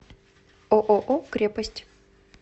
ооо крепость